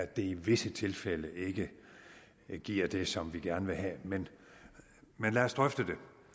det i visse tilfælde ikke giver det som vi gerne vil have men lad os drøfte